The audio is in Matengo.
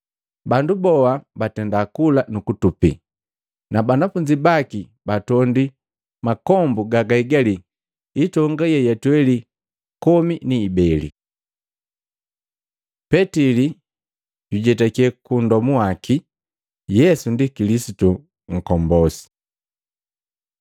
Bandu boha bakula, nukutupi. Na banafunzi baki batondwi makombu gagaigali itonga yeyatweli komi ni ibeli. Petili jujetake kuundomu waki Yesu ndi Kilisitu nkombosi Matei 16:13-19; Maluko 8:27-29